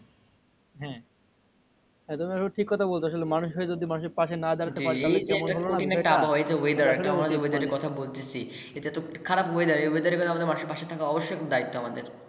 তুমি আবার ঠিক কথা বলতেছো। মানুষ হয়ে যদি মানুষের পাশে না দাঁড়াতে পারি। জি এই যে একটা কঠিন একটা আবহাওয়া weather সামাজিক কথা বলতেছি। এটাতো খারাপ weather এই weather আমাদের পাশে থাকা অবশ্যই দায়িত্ব আমাদের